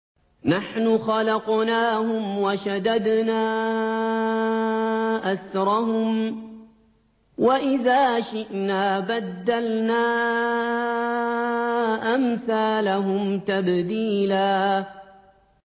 نَّحْنُ خَلَقْنَاهُمْ وَشَدَدْنَا أَسْرَهُمْ ۖ وَإِذَا شِئْنَا بَدَّلْنَا أَمْثَالَهُمْ تَبْدِيلًا